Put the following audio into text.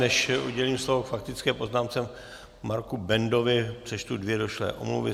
Než udělím slovo k faktické poznámce Marku Bendovi, přečtu dvě došlé omluvy.